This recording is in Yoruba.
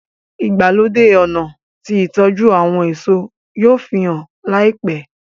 ìgbàlódé ọnà tí ìtọjú àwọn èso yóò fihàn láìpé.